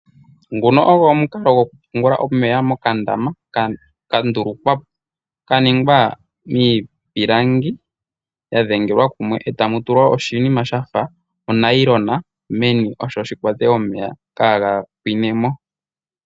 Nguno ogwo omukalo gwoku pungula omeya mokandama ka ndulukwa, kaningwa miipilangi ya dhengelwa kumwe etamu tulwa oshinima shafa onayilona meni osho shi kwate omeya kaga pwine mo.